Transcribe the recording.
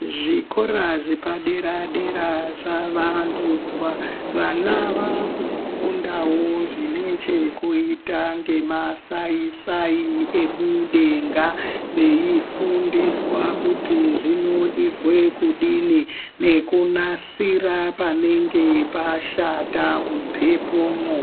Zvikora zvepadera-dera zvavandudzwa, vana vakufundawo zvine chekuita ngemasai-sai emudenga veifundiswa kuti zvinoizwe kudini nekunasira panenge pashata mumhepomwo.